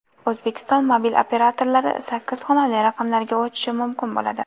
O‘zbekiston mobil operatorlari sakkiz xonali raqamlarga o‘tishi mumkin bo‘ladi.